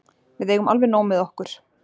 Við eigum alveg nóg með okkur.